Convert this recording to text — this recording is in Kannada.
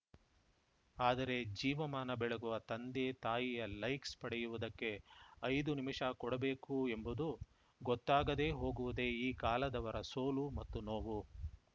ಆದರೆ ಜೀವಮಾನ ಬೆಳಗುವ ತಂದೆ ತಾಯಿಯ ಲೈಕ್ಸ್‌ ಪಡೆಯುವುದಕ್ಕೆ ಐದು ನಿಮಿಷ ಕೊಡಬೇಕು ಎಂಬುದು ಗೊತ್ತಾಗದೇ ಹೋಗುವುದೇ ಈ ಕಾಲದವರ ಸೋಲು ಮತ್ತು ನೋವು